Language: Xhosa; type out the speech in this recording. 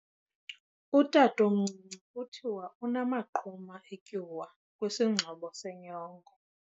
Utatomncinci kuthiwa unamaqhuma etyuwa kwisingxobo senyongo.